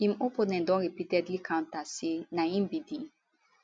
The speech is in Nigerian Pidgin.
im opponent don repeatedly counter say na im be di